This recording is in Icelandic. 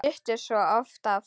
Þau duttu svo oft af.